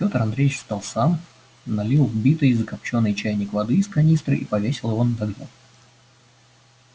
петр андреевич встал сам налил в битый закопчённый чайник воды из канистры и повесил его над огнём